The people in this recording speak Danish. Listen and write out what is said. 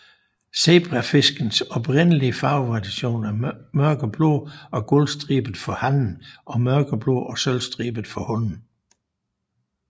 Zebrafiskens oprindelige farvevariation er mørkeblå og guldstribet for hannen og mørkeblå og sølvstribet for hunnen